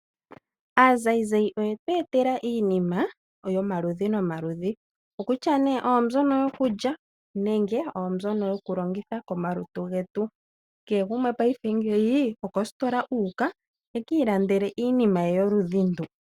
Aazayizayi oyetu etela iinima yomaludhi nomaludhi . Okokutya oombyono yokulya, naambyo yokulongitha komalutu getu. Kehe gumwe okositola huuka ekiilandele iinima yoludhi ndu.